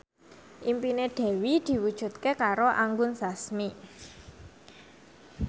impine Dewi diwujudke karo Anggun Sasmi